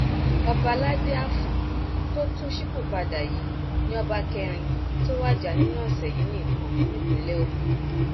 ọbaládi afọn tó tún ṣípòpadà yìí ni ọba kẹrin tó wájà nínú ọsẹ yìí nìkan nípínlẹ ogun